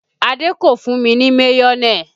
Adé kò fún mi ní mayonẹ